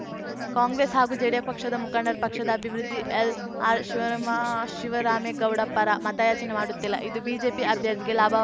ಕಾಂಗ್ರೆಸ್‌ ಹಾಗೂ ಜೆಡಿ ಪಕ್ಷದ ಮುಖಂಡರು ಪಕ್ಷದ ಅಭಿವೃದ್ಧಿಎಲ್‌ಆರ್‌ ಶಿವರಾಮ್ ಶಿವರಾಮೇಗೌಡ ಪರ ಮತಯಾಚನೆ ಮಾಡುತ್ತಿಲ್ಲ ಇದು ಬಿಜೆಪಿ ಅಭ್ಯರ್ಥಿಗೆ ಲಾಭವಾ